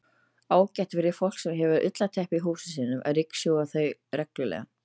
Ágætt er fyrir fólk sem hefur ullarteppi í húsum sínum að ryksjúga þau reglulega.